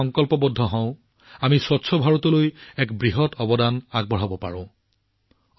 যদি আমি সংকল্প লওঁ আমি এক পৰিষ্কাৰ ভাৰতৰ দিশত এক বৃহৎ অৱদান আগবঢ়াব পাৰোঁ